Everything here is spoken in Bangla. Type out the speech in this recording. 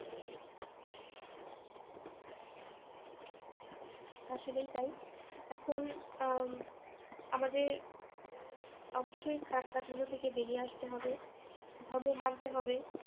আসলেই তাই এখন আহ উম আমাদের অবশ্যই খারাপ কাজগুলো থেকে বেরিয়ে আসতে হবে ধর্ম মানতে হবে